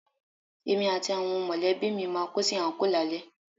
Èmi àti àwọn mọ̀lẹ́bí mi máa kó sí àńkò lálẹ́